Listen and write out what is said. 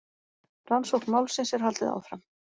Rannsókn málsins er haldið áfram